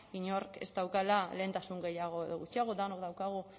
inork ez daukala lehentasun gehiago edo gutxiago denok daukagu